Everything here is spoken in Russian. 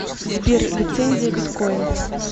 сбер лицензия биткойн